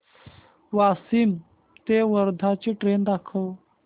वाशिम ते वर्धा ची ट्रेन दाखव